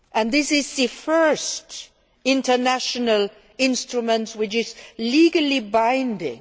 This is the first international instrument which is legally binding.